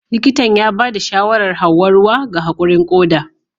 Likitan ya ba da shawarar Hauwa ruwa ga haƙurin koda